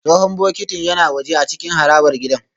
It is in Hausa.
Tsohon bokitin yana waje a cikin harabar gidan